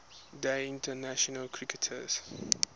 day international cricketers